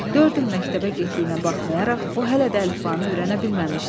Dörd il məktəbə getdiyinə baxmayaraq, o hələ də əlifbanı öyrənə bilməmişdi.